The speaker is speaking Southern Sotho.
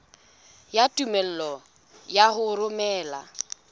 ya tumello ya ho romela